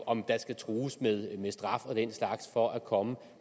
om der skal trues med straf og den slags for at komme